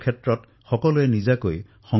এই অভিযানৰ নেতৃত্ব দেশে নিজৰ হাতত তুলি লৈছে